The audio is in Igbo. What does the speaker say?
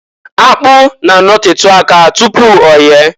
Akpụ na- anotetu aka tupu oye.